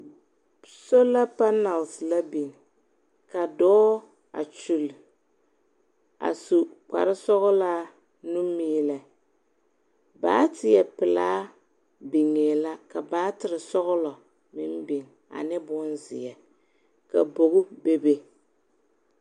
Sola panalse la biŋ, ka dɔɔ a kyuli a su kpare sɔgelaa nu meelɛ. baateɛ pelaa biŋee la ka baatere sɔgela meŋ biŋ ane bonzeɛ.